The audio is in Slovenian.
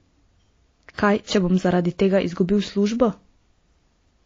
Kaj če bom zaradi tega izgubil službo?